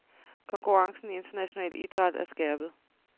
Konkurrencen i international idræt er skærpet.